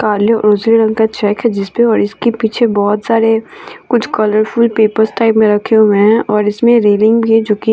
काले और उजले रंग का चेक है जिसपे इसके पीछे बहुत सारे कुछ कलरफुल पेपर टाइप में रखे हुए हैं और इसमें रेलिंग भी जोकी --